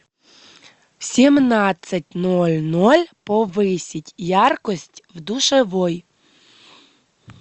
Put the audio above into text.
в семнадцать ноль ноль повысить яркость в душевой